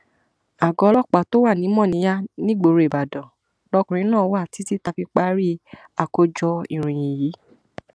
àgọ ọlọpàá tó wà ní mòníyà nígboro ìbàdàn lọkùnrin náà wà títí tá a fi parí àkójọ ìròyìn yìí